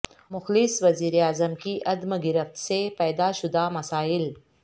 مخلص وزیراعظم کی عدم گرفت سے پیدا شدہ مسائل